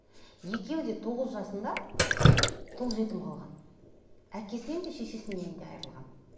екеуі де тоғыз жасында тұл жетім қалған әкесінен де шешесінен де айрылған